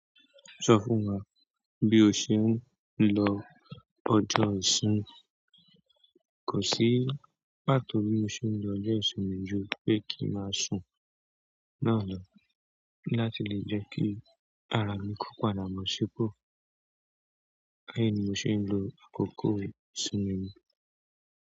Sọ fún wa bí o ṣe ń lo ọjọ́ ìṣinmi. Kò sí, pàtó bí mo ṣe ń lo ọjọ́ ìṣinmi ju pé kí n máa sun náà lọ láti lè jẹ́ kí ara mi kópa bo ṣipọ̀. Bẹ́ẹ̀ni mò ṣe ń lo àkókò ìṣinmi mi.